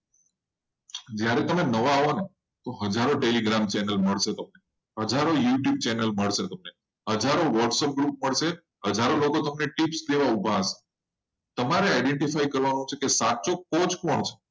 જ્યારે તમે નવા આવો ને ત્યારે હજારો telegram group મળશે. હજારો whatsapp group મળશે. હજારો youtube channel મળશે. મારા લોકો તો અમે tips લેવા ઉભા હશે. તમારે identify કરવાનું છે કે સાચો કોચ કોણ છે?